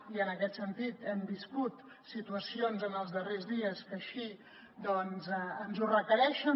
i en aquest sentit hem viscut situacions en els darrers dies que així ens ho requereixen